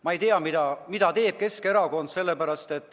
Ma ei tea, mida teeb Keskerakond.